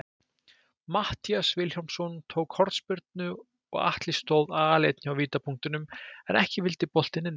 Matthías Vilhjálmsson tók hornspyrnu og Atli stóð aleinn hjá vítapunktinum, en ekki vildi boltinn inn.